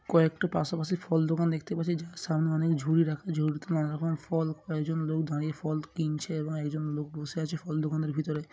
কয়েকটা পাশাপাশি ফল দোকান দেখতে পাচ্ছি যার সামনে অনেক ঝুড়ি রাখা ঝুড়িতে নানা রকমের ফল আর একজন লোক দাঁড়িয়ে ফল কিনছে এবং একজন লোক বসে আছে ফল দোকানের ভিতরে--